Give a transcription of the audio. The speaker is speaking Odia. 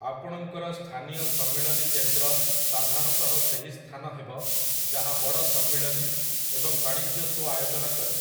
ଆପଣଙ୍କର ସ୍ଥାନୀୟ ସମ୍ମିଳନୀ କେନ୍ଦ୍ର ସାଧାରଣତଃ ସେହି ସ୍ଥାନ ହେବ ଯାହା ବଡ଼ ସମ୍ମିଳନୀ ଏବଂ ବାଣିଜ୍ୟ ଶୋ ଆୟୋଜନ କରେ ।